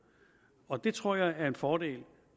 og det tror jeg er en fordel